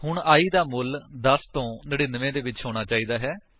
ਹੁਣ i ਦਾ ਮੁੱਲ 10 ਤੋ 99 ਦੇ ਵਿੱਚ ਹੋਣਾ ਚਾਹੀਦਾ ਹੈ